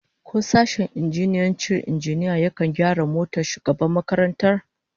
Ko sashen injiniyancin injina yakan gyara motar shugaban makarantar?